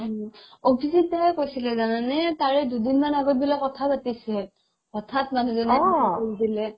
মানে অভিজিত দাই কৈছিলে জানানে তাৰে দুদিনমান আগত বোলে কথাও পাতিছিল কথা পাতিছিল হথাত মানুহ জনে এনুকোৱা কৰি দিলে